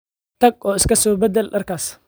Tag oo iska so beddel dharkaas